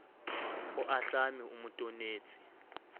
o ahlame o mo tonetse